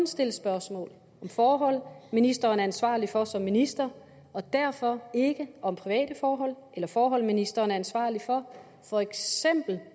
stilles spørgsmål om forhold ministeren er ansvarlig for som minister og derfor ikke om private forhold eller forhold ministeren er ansvarlig for